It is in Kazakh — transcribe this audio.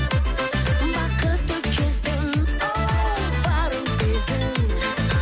бақытты кезің оу барын сезін